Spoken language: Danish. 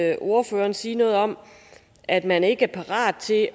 jeg ordføreren sige noget om at man ikke er parat til